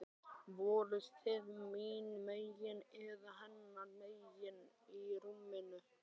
Voruð þið mín megin eða hennar megin í rúminu?